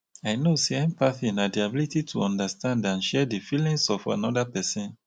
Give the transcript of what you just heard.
i know say empathy na di ability to understand and share di feelings of anoda pesin.